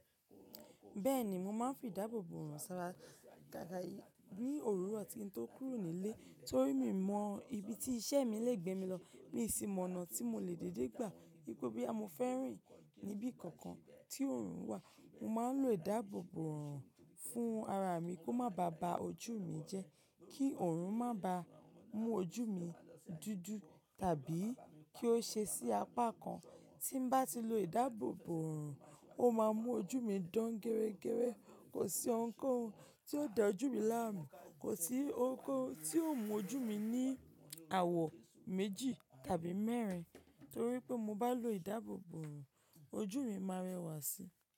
Bẹ́ẹ̀ni, mo máa ń fi ìdáàbòbò orun sára gaga ní òwuro tí n ko kúrò nílé. Torí mi mọ ibi tí iṣẹ́ mi lè gbé mi lọ mií i simọ̀nà tí mo lè dédé gbà. Wipe boya mo fẹ́ rìn níbí kankan tí òòrùn wà, mo máa ń lo ìdáàbòbò orun fún ara mi kó má ba bà ojú mi jẹ́ kí òrùn má ba mú ojú mi dúdú tàbí kí ó ṣe sí apá kan. Tí n bá ti lo ìdáàbòbò hàn, ó máa mú ojú mi dán gẹrẹ́gẹrẹ́. Kò sí ohunkóhun tí ó da ojú mi láàmú, kò sí ohunkóhun tí ó mú ojú mi ní àwọ̀ méjì tàbí mẹ́rin. Torí pé mo bá lo ìdáàbòbò hàn, ojú mi máa rẹwà síi.